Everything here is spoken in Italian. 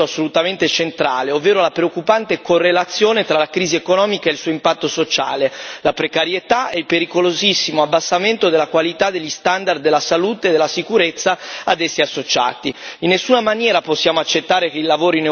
Il testo a mio avviso mette in nero su bianco un elemento assolutamente centrale, ovvero la preoccupante correlazione tra la crisi economica e il suo impatto sociale, la precarietà e il pericolosissimo abbassamento della qualità degli standard di salute e sicurezza ad essi associati.